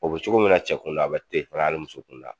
O be cogo min na cɛ kun da a be ten fɛɛnɛ ali muso kunda